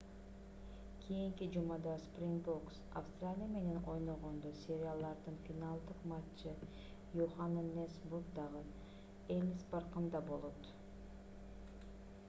кийинки жумада спрингбокс австралия менен ойногондо сериялардын финалдык матчы йоханнесбургддагы эллис паркында болот